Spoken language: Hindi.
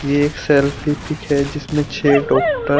ये एक सेल्फी पिक है जिसमे छे डॉक्टर --